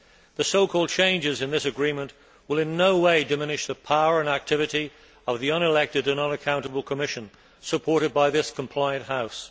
The so called changes in this agreement will in no way diminish the power and activity of the unelected and unaccountable Commission supported by this compliant House.